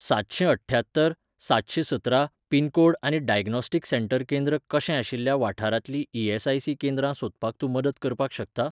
सातशेंअठ्ठ्यात्तर सातशेंसतरा पिनकोड आनी diagnostic centre केंद्र कशेंआशिल्ल्या वाठारांतलीं ई.एस.आय.सी केंद्रां सोदपाक तूं मदत करपाक शकता?